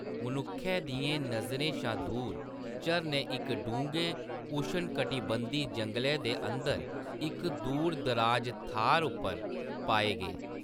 मनुक्खै दियें नजरें शा दूर, झरने इक डुंगे उष्णकटिबंधी जंगलै दे अंदर इक दूरदराज थाह्‌‌‌र पर पाए गे।